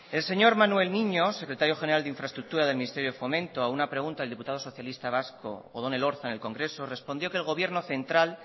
el señor manuel niño secretario general de infraestructura del ministerio de fomento a una pregunta del diputado socialista vasco odón elorza en el congreso respondió que el gobierno central